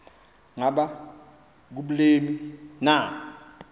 ngaba kubleni na